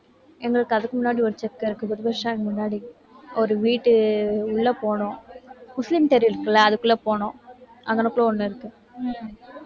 எங்களுக்கு அதுக்கு முன்னாடி ஒரு செக்கு இருக்கு முன்னாடி. ஒரு வீட்டு உள்ள போனோம். முஸ்லிம் தெரு இருக்கு இல்லை அதுக்குள்ள போனோம் அங்கனக்குள்ள ஒண்ணு இருக்கு